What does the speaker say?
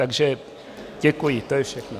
Takže děkuji, to je všechno.